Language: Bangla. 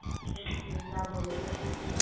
সত্যি যা বলেছ.